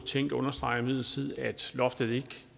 tænk understreger imidlertid at loftet ikke